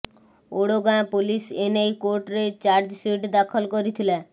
Odagaon police ଏ ନେଇ କୋର୍ଟରେ ଚାର୍ଜସିଟ୍ ଦାଖଲ କରିଥିଲା